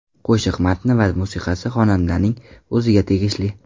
Qo‘shiq matni va musiqasi xonandaning o‘ziga tegishli.